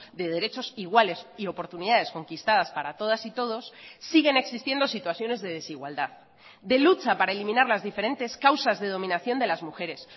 de derechos iguales y oportunidades conquistadas para todas y todos siguen existiendo situaciones de desigualdad de lucha para eliminar las diferentes causas de dominación de las mujeres